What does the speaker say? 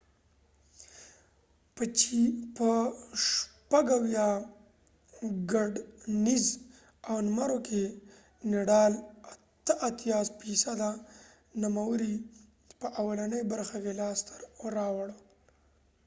نډال nadal په 76 ګټنیز و نمرو کې 88٪ نومرې په اولنۍ برخه کې لاس ته راوړل